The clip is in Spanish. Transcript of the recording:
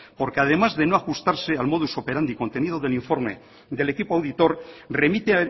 porque además de no ajustarse al modus operandi contenido del informe del equipo auditor remite